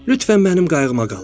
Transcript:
Lütfən mənim qayğıma qalın.